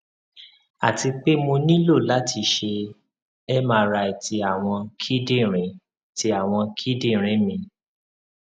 ati pe mo nilo lati ṣe mri ti awọn kidinrin ti awọn kidinrin mi